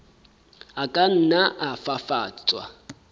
a ka nna a fafatswa